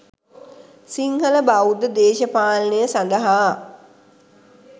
සිංහලබෞද්ධ දේශපාලනය සඳහා